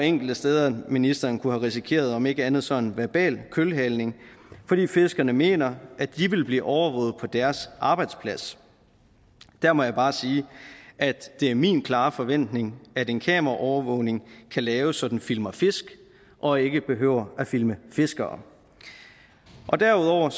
enkelte steder hvor ministeren kunne have risikeret om ikke andet så en verbal kølhaling fordi fiskerne mener at de vil blive overvåget på deres arbejdsplads der må jeg bare sige at det er min klare forventning at en kameraovervågning kan laves så den filmer fisk og ikke behøver at filme fiskere derudover